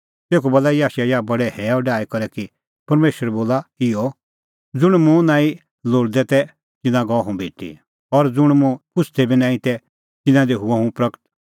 तेखअ बोला याशायाह बडै हैअ डाही करै कि परमेशर बोला इहअ ज़ुंण मुंह नांईं लोल़दै तै तिन्नां गअ हुंह भेटी और ज़ुंण मुंह पुछ़दै बी नांईं तै तिन्नां दी हुअ हुंह प्रगट